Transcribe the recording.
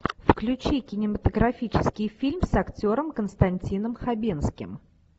включи кинематографический фильм с актером константином хабенским